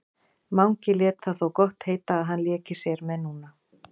Mangi lét það þó gott heita að hann léki sér með núna.